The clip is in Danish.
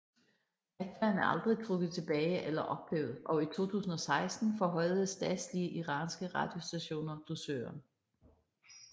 Fatwaen er aldrig trukket tilbage eller ophævet og i 2016 forhøjede statslige iranske radiostationer dusøren